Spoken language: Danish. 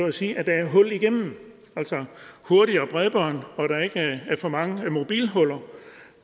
at sige er hul igennem altså hurtigere bredbånd og at der ikke er for mange mobilhuller